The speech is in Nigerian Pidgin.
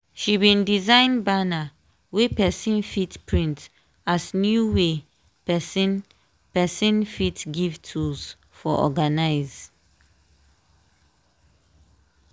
she bin design banner wey person fit print as new way person person fit give tools for organize.